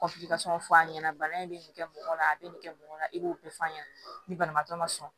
fɔ a ɲɛna bana in bɛ nin kɛ mɔgɔ la a bɛ nin kɛ mɔgɔ la i b'o bɛɛ fɔ a ɲɛna ni banabaatɔ ma sɔn